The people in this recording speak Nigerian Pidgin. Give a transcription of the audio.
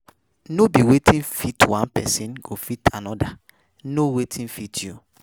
No be wetin fit one persin go fit another know wetin fit you